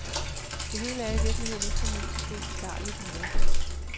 Det hele er i virkeligheden ikke er så mystisk og uforklarligt endda.